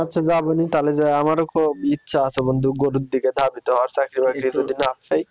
আচ্ছা যাবোনি তালে যেয়ে আমারও খুব ইচ্ছা আছে বন্ধু গরুর দিকে